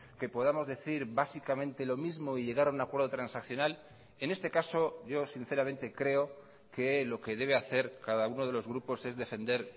que podamos decir básicamente lo mismo y llegar a un acuerdo transaccional en este caso yo sinceramente creo que lo que debe hacer cada uno de los grupos es defender